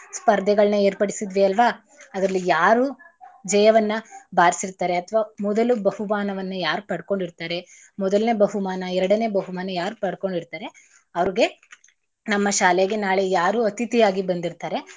ಸ್ಪರ್ಧೆಗಳ್ನ ಏರ್ಪಡಿಸಿದ್ವಿ ಅಲ್ವಾ ಅದ್ರಲ್ಲಿ ಯಾರು ಜಯವನ್ನ ಬಾರ್ಸಿರ್ತಾರೆ ಅಥವಾ ಮೊದಲು ಬಹುಮಾನವನ್ನ ಯಾರು ಪಡ್ಕೊಂಡಿರ್ತಾರೆ ಮೊದಲನೇ ಬಹುಮಾನ, ಎರಡನೇ ಬಹುಮಾನ ಯಾರ್ ಪಡ್ಕೊಂಡಿರ್ತಾರೆ ಅವ್ರ್ಗೆ ನಮ್ಮ ಶಾಲೆಗೆ ನಾಳೆ ಯಾರು ಅತಿಥಿ ಆಗಿ ಬಂದಿರ್ತಾರೆ.